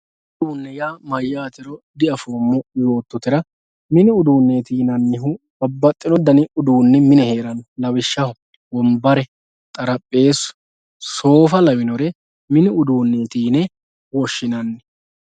mini uduunneeti yaa mayyaatero diafoommo yoottotera mini uduunneeti yinanniyhu babbaxxino dani uduunni mine heeranno lawishshaho wonbare xarapheezu soofa lawinori mini uduunneeti yine woshshinanni